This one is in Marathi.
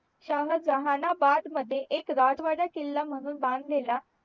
शाहजानंबाद मध्ये एक राजवाडा किला म्हून बांधलेला